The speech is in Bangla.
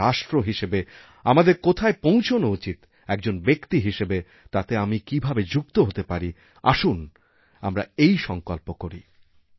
এক রাষ্ট্র হিসাবে আমাদের কোথায় পৌঁছানো উচিৎএকজন ব্যক্তি হিসাবে তাতে আমি কীভাবে যুক্ত হতে পারি আসুন আমরা এই সঙ্কল্প করি